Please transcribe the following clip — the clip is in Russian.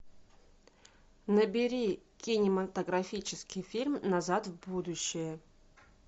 набери кинематографический фильм назад в будущее